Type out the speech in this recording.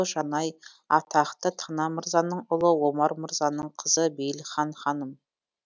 жанай атақты тана мырзаның ұлы омар мырзаның қызы бейілхан ханым